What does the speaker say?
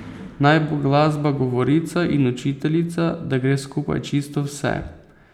Naj bo glasba govorica in učiteljica, da gre skupaj čisto vse.